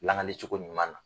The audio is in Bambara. Lanali cogo ɲuman na.